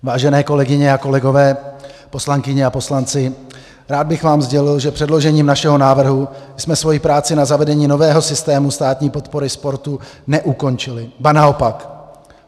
Vážené kolegyně a kolegové, poslankyně a poslanci, rád bych vám sdělil, že předložením našeho návrhu jsme svoji práci na zavedení nového systému státní podpory sportu neukončili, ba naopak.